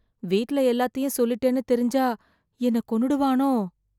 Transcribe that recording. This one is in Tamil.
வீட்ல எல்லாத்தையும் சொல்லிட்டேன்னு தெரிஞ்சா, என்னை கொன்னுடுவானோ...